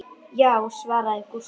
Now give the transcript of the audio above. Já, svaraði Gústi.